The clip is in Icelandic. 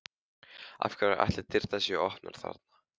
Af hverju ætli dyrnar séu opnar þarna?